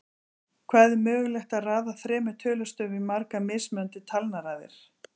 Hvað er mögulegt að raða þremur tölustöfum í margar mismunandi talnaraðir?